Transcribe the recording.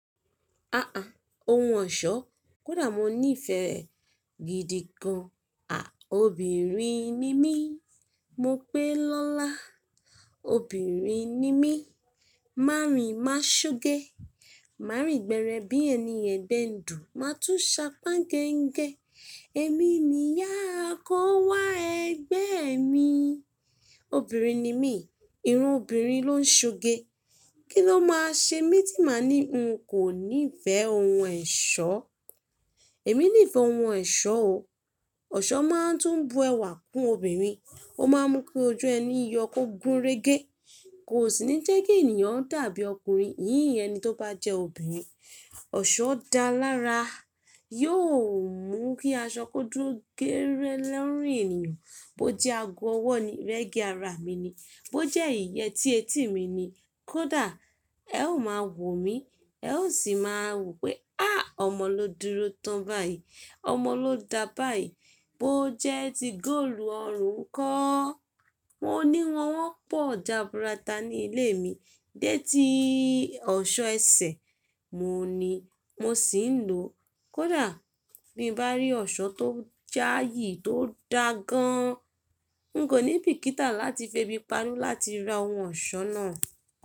A à, ohun ọ̀ṣọ́, kódà mo ní ìfẹ́ re gidi gan. À, obìnrin ni mí, mo pé lọ́la. Obìnrin ni mí, mà rìn má ṣ'ogẹ. Mà rìn gbẹrẹ bí ẹni ẹgbẹ́ ń dùn, mà tún ṣe ápá gẹngẹ. Èmi ni ìyá àkọ́wá ẹgbẹ́ mi. Obìnrin ni mí, irun obìnrin ló ń ṣugẹ. Kí ló máa ṣe mí tí màa ní n kò ní ìfẹ́ ohun ẹ̀ṣọ́. Èmi ní ìfẹ́ ohun ẹ̀ṣọ́ o. Ọ̀ṣọ́ máa ń tún bu ẹwà kún obìnrin, ó máa ń mú kí ojú ẹni yọ kó gúnrégé. Kò sì ní jẹ́ kí ènìyàn dàbí ọkùnrin, yìnyín ẹni tó bá jẹ́ obìnrin. Ọ̀ṣọ́ da lára, yóò mú kí aṣọ kó dúró gérẹ lorùn eniyan. Bó jẹ́ ago ọwọ́ ni, regẹ́ ara mi ni. Bó jẹ́ ìyẹ́tí etí mi ni. Kódà ẹ ó máa wò mí, ẹ ó sì máa wo pe "à, ọmọ ló dúró tán báyìí, ọmọ ló da báyìí." Bó jẹ́ ti góòlù ọrùn nkọ́. Mo ní wọ́n won pọ̀ jàbúrátà ní ilé mi, dé tí ọ̀ṣọ́ ẹsẹ̀ mo ní mo sì ń lò. Kódà bí n bá rí ọ̀ṣọ́ tó jáayì, tó da gan, n kò ní bìkítà láti fẹbi panú láti ra ohun ọ̀ṣọ́ náà.